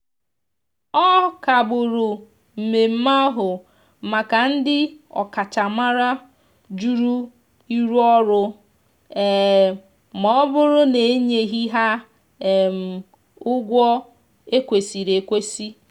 ọ kagburu mmeme ahu maka ndi okachamara jụrụ ịrụ ọrụ um ma ọbụrụ na enyeghi ha um ụgwọ ekwesiri ekwesi.